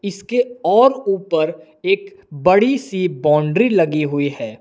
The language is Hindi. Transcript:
इसके और ऊपर एक बड़ी सी बाउंड्री लगी हुई है।